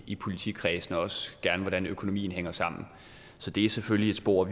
i politikredsene og gerne hvordan økonomien hænger sammen så det er selvfølgelig et spor